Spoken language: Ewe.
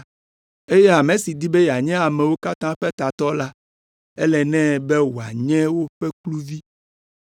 eye ame si di be yeanye amewo katã ƒe tatɔ la, ele nɛ be wòanye woƒe kluvi,